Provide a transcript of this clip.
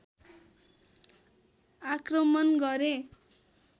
आक्रमण गरे